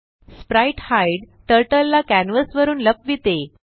sprite hide turtle ला canvas वरुन लपविते